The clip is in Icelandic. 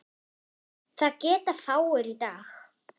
Það geta fáir í dag.